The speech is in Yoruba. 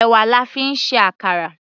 Èwà la fi ń ṣe àkàrà.